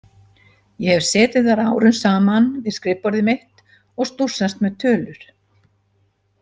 Ég hef setið þar árum saman við skrifborðið mitt og stússast með tölur.